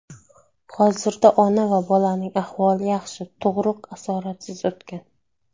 Hozirda ona va bolaning ahvoli yaxshi, tug‘ruq asoratsiz o‘tgan.